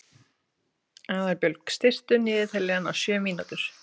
Aðalbjörg, stilltu niðurteljara á sjö mínútur.